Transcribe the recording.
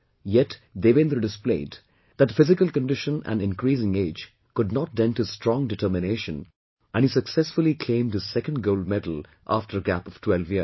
Yet, Devendra displayed that physical condition and increasing age could not dent his strong determination and he successfully claimed his second gold medal after a gap of 12 years